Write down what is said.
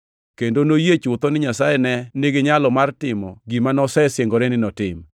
kendo noyie chutho ni Nyasaye ne niginyalo mar timo gima nosesingore ni notim.